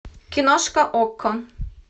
киношка окко